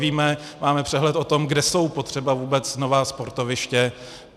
Víme, máme přehled o tom, kde jsou potřeba vůbec nová sportoviště.